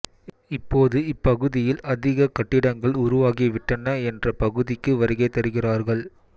இப்போது இப்பகுதியில் அதிக கட்டிடங்கள் உருவாகிவிட்டன என்ற பகுதிக்கு வருகை தருகிறார்கள்